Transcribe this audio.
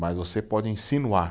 Mas você pode insinuar.